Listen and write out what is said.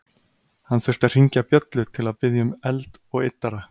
Hann þurfti að hringja bjöllu til að biðja um eld og yddara.